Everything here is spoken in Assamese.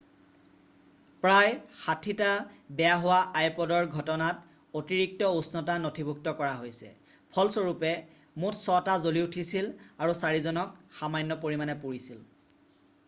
"প্ৰায় ৬০টা বেয়া হোৱা আইপʼদৰ ঘটনাত অতিৰিক্ত উষ্ণতা নথিভুক্ত কৰা হৈছে ফলস্বৰূপে মুঠ ৬ টা জ্বলি উঠিছিল আৰু ৪ জনক সামান্য পৰিমাণে পুৰিছিল।""